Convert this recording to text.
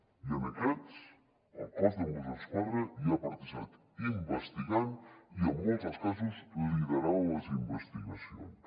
i en aquests el cos de mossos d’esquadra hi ha participat investigant i en molts dels casos liderant les investigacions